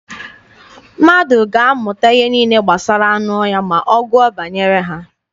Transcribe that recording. Mmadụ ga-amụta ihe niile gbasara anụ ọhịa ma ọ gụọ banyere ha.